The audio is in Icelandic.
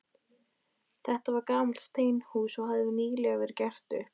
Þetta var gamalt steinhús, og hafði nýlega verið gert upp.